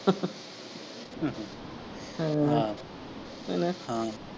ਹਮ ਹਾਂ, ਹੈਨਾ ਹਾਂ।